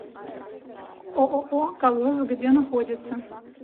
ооо колос где находится